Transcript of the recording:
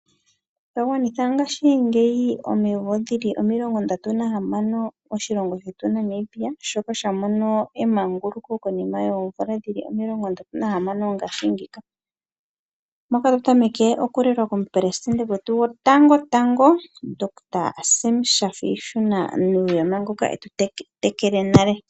Otwa gwanitha ngashi ngeyi omimvo omilongo ndatu nahamano moshilongo shetu Namibia, shoka sha mono emanguluko konima yeemvula dhili omilongo ndatu nahamano ngaashi ngeyika. Otwa kala otulelwa komePelesitende gwetu gotango tango Dr Sam Shaafishuna Nuuyoma, ngoka etutetekele nale.